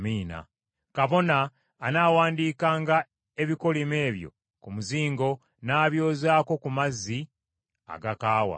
“ ‘Kabona anaawandiikanga ebikolimo ebyo ku muzingo n’abyozaako mu mazzi agakaawa.